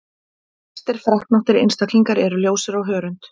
Flestir freknóttir einstaklingar eru ljósir á hörund.